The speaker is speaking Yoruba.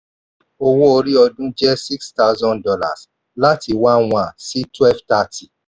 owó orí ọdún jẹ́ six thousand dollars láti one one sí twelve thirty.